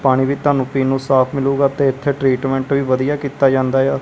ਪਾਣੀ ਵੀ ਤੁਹਾਨੂੰ ਪੀਣ ਨੂੰ ਸਾਫ ਮਿਲੁਗਾ ਤੇ ਇੱਥੇ ਟ੍ਰੀਟਮੈਂਟ ਵੀ ਵਧੀਆ ਕਿੱਤਾ ਜਾਂਦਾ ਯਾ।